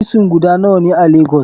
Frison guda nawane a lagos?